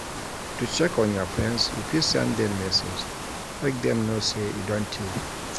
To check on your friends you fit send them message make them know say e don tey